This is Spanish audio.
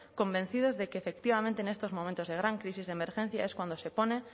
convencidos de que efectivamente en estos momentos de gran crisis de emergencia es cuando se pone